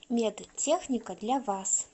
медтехника для вас